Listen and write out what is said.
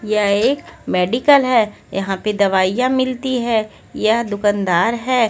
यह एक मेडिकल है यहां पे दवाईयां मिलती हैं यह दुकानदार हैं।